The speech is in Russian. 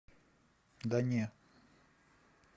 да не